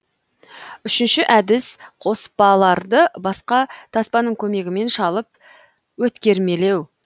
үшінші әдіс қоспаларды басқа таспаның көмегімен шалып өткермелеу